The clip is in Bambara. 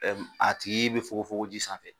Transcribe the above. Ɛɛ a tigi bɛ fɔgɔ fɔgo ji sanfɛ.